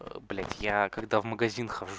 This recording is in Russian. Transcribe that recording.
блять я когда в магазин хожу